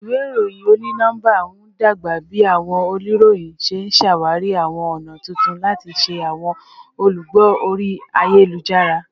Iwe iroyin oni-nọmba n dagba bi awọn oniroyin ṣe ṣawari awọn ọna tuntun lati ṣe awọn olugbo ori ayelujara